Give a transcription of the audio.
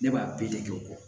Ne b'a bɛɛ de kɛ o kɔ